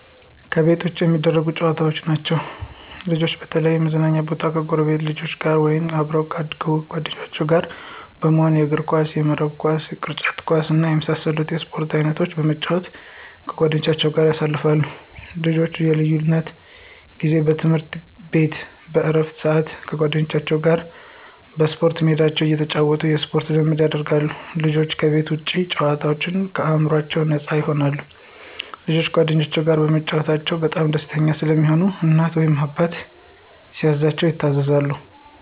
ከቤት ውጭ የሚደረጉ ጨዋታዎች ናቸዉ። ልጆች በተለያዩ የመዝናኛ ቦታወች ከጎረቤት ልጆች ጋር ወይም ከአብሮ አደግ ጓደኞቻቸው ጋር በመሆን የእግርኳስ፣ የመረብ ኳስ፣ የቅርጫት ኳስ እና የመሳሰሉትን የስፖርት አይነቶች በመጫወት ከጓደኞቻቸው ጋር ያሳልፋሉ። ልጆች የልጅነት ጊዜ በትምህርት ቤት በእረፍት ስአት ከጓደኞቻቸው ጋር በስፖርት ሜዳቸው እየተጫወቱ የስፖርት ልምምድ ያደርጋሉ። ልጆች ከቤት ውጭ ሲጫወቱ አእምሮአቸው ነፃ ይሆናል። ልጆች ከጓደኞቻቸው ጋር በመጫወታቸው በጣም ደስተኛ ስለሚሆኑ እናት ወይም አባታቸው ሲያዛቸው ይታዘዛሉ።